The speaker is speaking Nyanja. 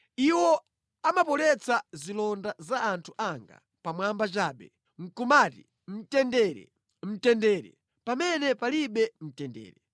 Iwo amapoletsa zilonda za anthu anga pamwamba chabe nʼkumati, ‘Mtendere, mtendere,’ pamene palibe mtendere.